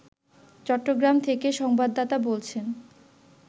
চট্টগ্রাম থেকে সংবাদদাতা বলছেন